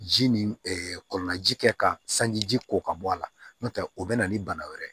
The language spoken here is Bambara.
Ji ni kɔɔna ji kɛ ka sanji ji ko ka bɔ a la n'o tɛ o bɛ na ni bana wɛrɛ ye